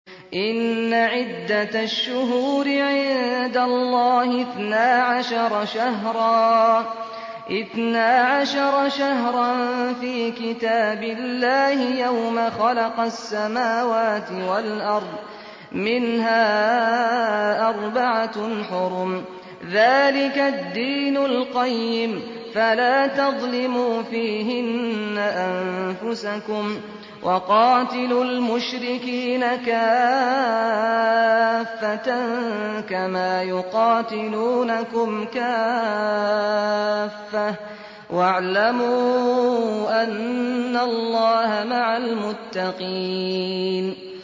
إِنَّ عِدَّةَ الشُّهُورِ عِندَ اللَّهِ اثْنَا عَشَرَ شَهْرًا فِي كِتَابِ اللَّهِ يَوْمَ خَلَقَ السَّمَاوَاتِ وَالْأَرْضَ مِنْهَا أَرْبَعَةٌ حُرُمٌ ۚ ذَٰلِكَ الدِّينُ الْقَيِّمُ ۚ فَلَا تَظْلِمُوا فِيهِنَّ أَنفُسَكُمْ ۚ وَقَاتِلُوا الْمُشْرِكِينَ كَافَّةً كَمَا يُقَاتِلُونَكُمْ كَافَّةً ۚ وَاعْلَمُوا أَنَّ اللَّهَ مَعَ الْمُتَّقِينَ